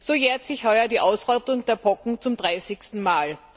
So jährt sich heuer die Ausrottung der Pocken zum dreißigsten Mal.